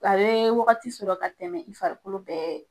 A bɛ wagati sɔrɔ ka tɛmɛ i farikolo bɛɛ